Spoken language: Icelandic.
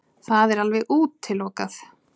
Það er alveg útilokað.